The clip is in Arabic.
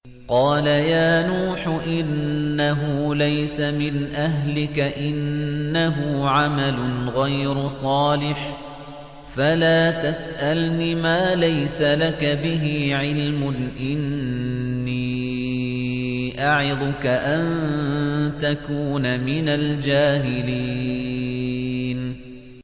قَالَ يَا نُوحُ إِنَّهُ لَيْسَ مِنْ أَهْلِكَ ۖ إِنَّهُ عَمَلٌ غَيْرُ صَالِحٍ ۖ فَلَا تَسْأَلْنِ مَا لَيْسَ لَكَ بِهِ عِلْمٌ ۖ إِنِّي أَعِظُكَ أَن تَكُونَ مِنَ الْجَاهِلِينَ